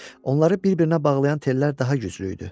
Onları bir-birinə bağlayan tellər daha güclü idi.